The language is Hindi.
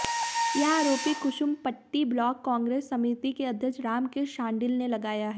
यह आरोप कुसुम्पटी ब्लॉक कांग्रेस समिति के अध्यक्ष रामकृष्ण शांडिल ने लगाया है